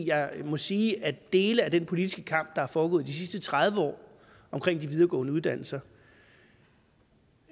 jeg må sige at dele af den politiske kamp der er foregået de sidste tredive år omkring de videregående uddannelser